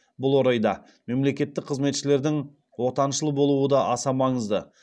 бұл орайда мемлекеттік қызметшілердің отаншыл болуы да аса маңызды